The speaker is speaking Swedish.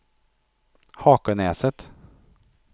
Hakenäset